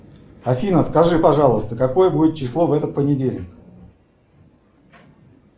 афина скажи пожалуйста какое будет число в этот понедельник